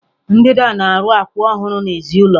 Ndida na-arụ akwụ ọhụrụ n'èzí ụlọ.